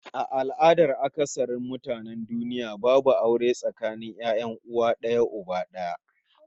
A al'adan akasarin mutanen duniya babu aure tsakanin 'ya'yan uwa d'aya uba d'aya